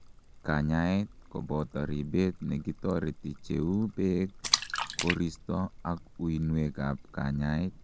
kanyaet koboto ribet nekitoreti cheu beek, koristo ak uinwek ab kanyaet